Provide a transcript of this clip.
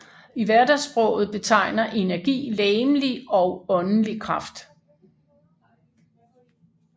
I hverdagssproget betegner energi legemlig og åndelig kraft